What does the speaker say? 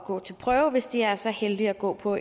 gå til prøve hvis de er så heldige at gå på